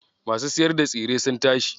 Masu siyar da tsire sun tashi.